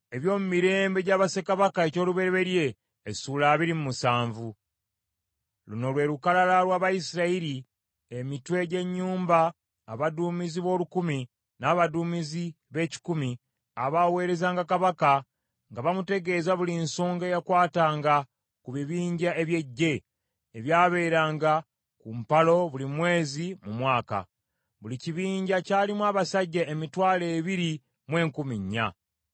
Luno lwe lukalala lw’Abayisirayiri emitwe gy’ennyumba, abaduumizi b’olukumi, n’abaduumizi b’ekikumi abaaweerezanga kabaka nga bamutegeeza buli nsonga eyakwatanga ku bibinja eby’eggye, ebyabeeranga ku mpalo buli mwezi mu mwaka. Buli kibinja kyalimu abasajja emitwalo ebiri mu enkumi nnya.